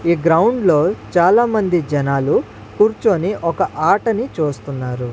ఈ గ్రౌండ్ లో చాలామంది జనాలు కూర్చొని ఒక ఆటని చూస్తున్నారు.